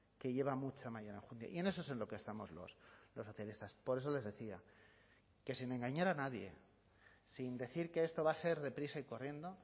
que lleva mucha y en eso es en lo que estamos los socialistas por eso les decía que sin engañar a nadie sin decir que esto va a ser deprisa y corriendo